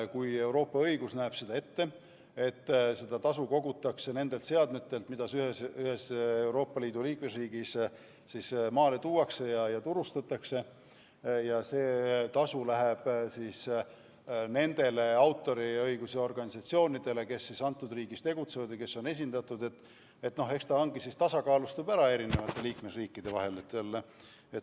Kui Euroopa õigus näeb ette, et seda tasu kogutakse nendelt seadmetelt, mida ühes Euroopa Liidu riigis maale tuuakse ja turustatakse, ning see tasu läheb nendele autoriõiguse organisatsioonidele, kes selles riigis tegutsevad või on esindatud, siis eks ta tasakaalustubki ära liikmesriikide vahel.